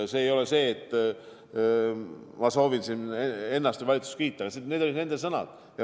See ei ole mitte nii, et ma soovin siin ennast või valitsust kiita, vaid need olid nende sõnad.